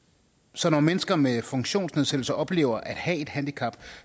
så når mennesker med funktionsnedsættelser oplever at have et handicap